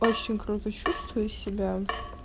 очень круто чувствую себя